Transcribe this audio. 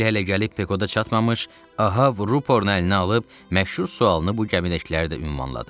Rahil hələ gəlib Pekoda çatmamış, Ahab ruporunu əlinə alıb məşhur sualını bu gəmidəkiləri də ünvanladı.